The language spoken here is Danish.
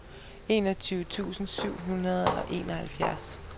enogtyve tusind syv hundrede og enoghalvfjerds